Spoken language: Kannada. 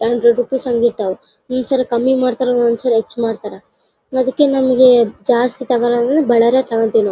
ಹಂಡ್ರೆಡ್ ರುಪೀಸ್ ಅಂದಿರತ್ವ್ ಕಮ್ಮಿ ಮಾಡತ್ತರೋ ಒಂದ ಒಂದ್ ಸಾರಿ ಹೆಚ್ಚ್ ಮಾಡತ್ತರ್ ಅದಕ್ಕೆ ನಿಮ್ಮಗೆ ಜಾಸ್ತಿ ತೋಕೋಳೂರು ಬಳ್ಳಾರಿಯಲ್ಲಿ ತೋಕೊತ್ತೀವಿ ನಾವು .